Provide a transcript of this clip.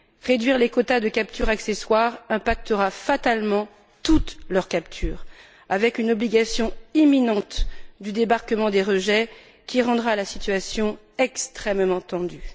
Réduire les quotas de captures accessoires impactera fatalement toutes leurs captures avec une obligation imminente du débarquement des rejets qui rendra la situation extrêmement tendue.